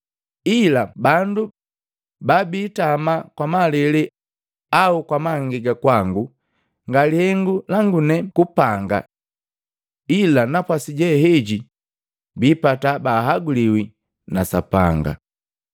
Ila bandu babiitama kwa malele au kwa mangega kwangu, nga lihengu langune kupanga. Ila napwasi jeheji biipata bahaguliwi na Sapanga.”